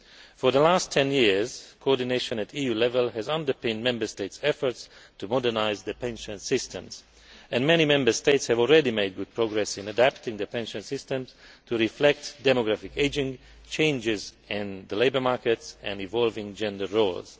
For the last 10 years, coordination at EU level has underpinned Member States' efforts to modernise the pension systems, and many Member States have already made good progress in adapting the pension systems to reflect demographic ageing, changes in the labour markets and evolving gender roles.